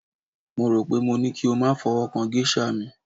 mo ro pe mo ní kí o ma fi ọwọ kan geisha mi